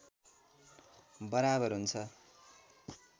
बराबर हुन्छ